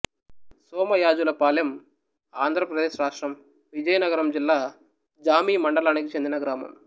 సోమయాజులపాలెంఆంధ్ర ప్రదేశ్ రాష్ట్రం విజయనగరం జిల్లా జామి మండలానికి చెందిన గ్రామం